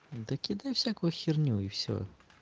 да кидай всякую херню и всё